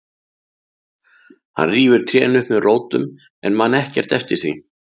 Hann rífur trén upp með rótum en man ekkert eftir því.